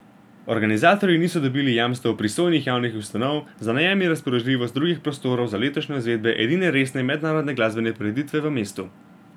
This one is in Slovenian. Organizatorji niso dobili jamstev pristojnih javnih ustanov za najem in razpoložljivost drugih prostorov za letošnjo izvedbo edine resne mednarodne glasbene prireditve v mestu.